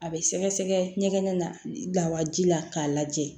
A bɛ sɛgɛsɛgɛ ɲɛgɛn na lawaji la k'a lajɛ